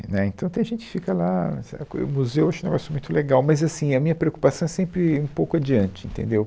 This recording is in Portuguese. Né, Então, tem gente que fica lá... sabe, coisa, o museu eu acho um negócio muito legal, mas assim, a minha preocupação é sempre um pouco adiante, entendeu?